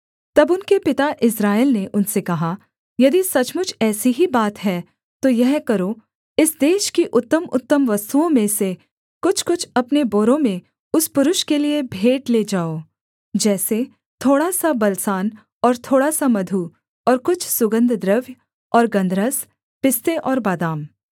तब उनके पिता इस्राएल ने उनसे कहा यदि सचमुच ऐसी ही बात है तो यह करो इस देश की उत्तमउत्तम वस्तुओं में से कुछ कुछ अपने बोरों में उस पुरुष के लिये भेंट ले जाओ जैसे थोड़ा सा बलसान और थोड़ा सा मधु और कुछ सुगन्धद्रव्य और गन्धरस पिस्ते और बादाम